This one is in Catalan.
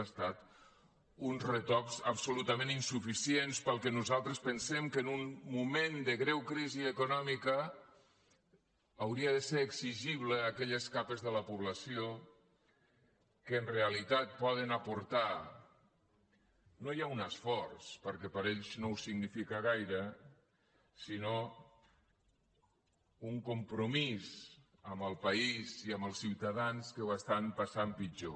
han estat uns retocs absolutament insuficients pel que nosaltres pensem que en un moment de greu crisi econòmica hauria de ser exigible a aquelles capes de la població que en realitat poden aportar no ja un esforç perquè per a ells no en significa gaire sinó un compromís amb el país i amb els ciutadans que ho passen pitjor